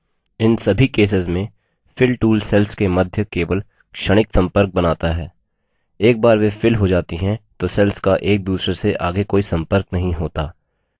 इन सभी केसेस में fill tool cells के मध्य केवल क्षणिक संपर्क बनाता है एक बार वे fill हो जाती हैं तो cells का एक दूसरे से आगे कोई संपर्क नहीं होता